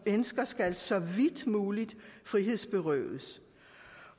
mennesker skal så vidt muligt frihedsberøves